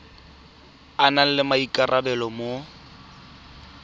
a nang le maikarabelo mo